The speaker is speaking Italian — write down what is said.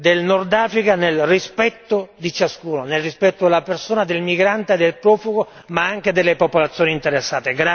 del Nord Africa, nel rispetto di ciascuno, nel rispetto della persona, del migrante, del profugo ma anche delle popolazioni interessate.